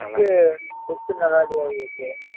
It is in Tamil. look look நல்லா இல்லையா விவேக்